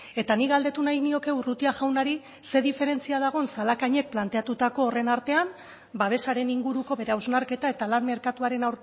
eta nik galdetu nahi nioke urrutia jaunari ze diferentzia dagoen zalakainek planteatutako horren artean babesaren inguruko bere hausnarketa eta lan merkatuaren